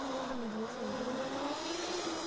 Kanu kiwosh enkukuo?